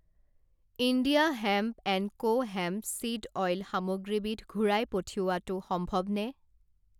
India hemp and co hemp seed oil সামগ্ৰীবিধ ঘূৰাই পঠিওৱাটো সম্ভৱনে?